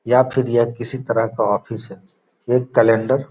या फिर यह किसी तरह का ऑफिस है एक कैलेंडर ।